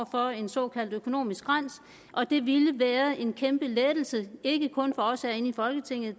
for en såkaldt økonomisk skrænt og det ville være en kæmpe lettelse ikke kun for os herinde i folketinget